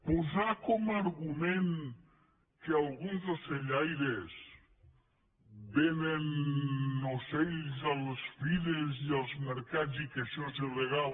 posar com a argument que alguns ocellaires venen ocells a les fires i als mercats i que això és il·legal